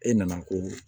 E nana ko